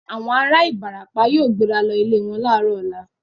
Àwọn ará Ìbàràpá yóò gbéra lọ ilẹ̀ wọn láàárọ̀ ọ̀la.